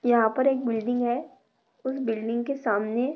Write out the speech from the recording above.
यहा पर एक बिल्डिंग है। कुछ बिल्डिंग के सामने--